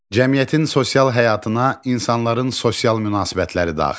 Cəmiyyətin sosial həyatına insanların sosial münasibətləri daxildir.